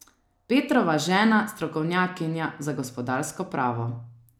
Petrova žena, strokovnjakinja za gospodarsko pravo.